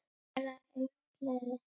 STELA ENGLI!